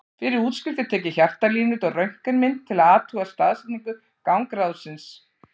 Fyrir útskrift er tekið hjartalínurit og röntgenmynd til að athuga staðsetningu gangráðsins.